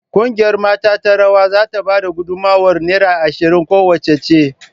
Kungiyar mata ta rawa za ta ba da gudummawar naira ashirin kowacce.